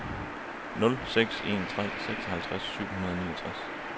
nul seks en tre seksoghalvtreds syv hundrede og niogtres